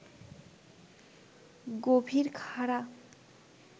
গভীর খাড়া